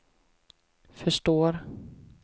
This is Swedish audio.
förstår